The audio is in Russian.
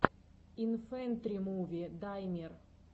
инфэнтримуви даймир